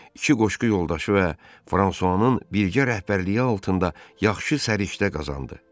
İki qoşqu yoldaşı və Fransuanın birgə rəhbərliyi altında yaxşı səriştə qazandı.